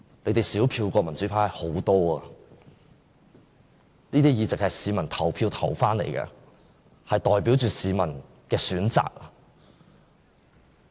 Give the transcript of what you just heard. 他們的票數比民主派少很多，我們的議席是經由市民投票投回來的，代表市民的選擇。